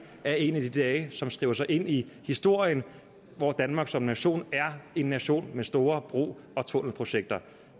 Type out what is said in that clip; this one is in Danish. er en af de dage som skriver sig ind i historien hvor danmark som nation er en nation med store bro og tunnelprojekter